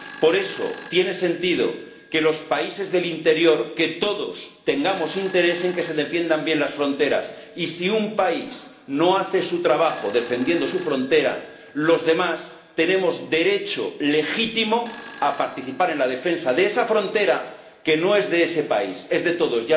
Por eso tiene sentido que todos, también los países del interior, tengamos interés en que se defiendan bien las fronteras y, si un país no hace su trabajo defendiendo su frontera, los demás tenemos derecho legítimo a participar en la defensa de esa frontera, que no es de ese país, es de todos.